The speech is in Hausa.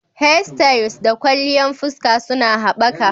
Hairstyles da kwalliyan fuska suna haɓaka.